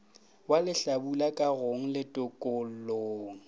wa lehlabula kagong le tokollong